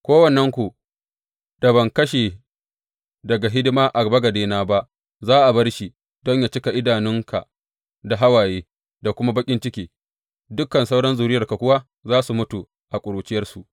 Kowannenku da ban kashe daga hidima a bagadena ba, za a bar shi don yă cika idanunka da hawaye da kuma baƙin ciki, dukan sauran zuriyarka kuwa za su mutu a ƙuruciyarsu.